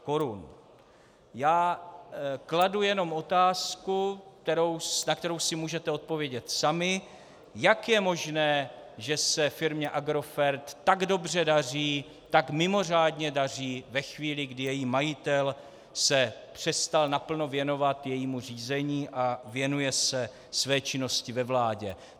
Já kladu jenom otázku, na kterou si můžete odpovědět sami, jak je možné, že se firmě Agrofert tak dobře daří, tak mimořádně daří ve chvíli, kdy její majitel se přestal naplno věnovat jejímu řízení a věnuje se své činnosti ve vládě.